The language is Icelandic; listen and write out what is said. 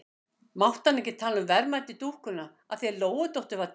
Mátti hann ekki tala um verðmæti dúkkunnar af því að Lóudóttir var týnd?